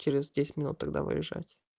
через десять минут тогда выезжать